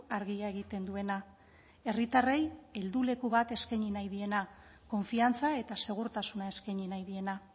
argia egiten duena herritarrei helduleku bat eskaini nahi diena konfiantza eta segurtasuna eskaini nahi diena